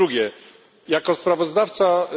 Po drugie, jako sprawozdawca ds.